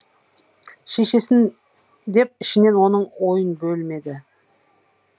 шешесін деп ішінен оның ойын бөлмеді